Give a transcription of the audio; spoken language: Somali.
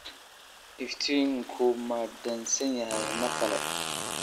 Iftiinku ma dansan yahay mar kale?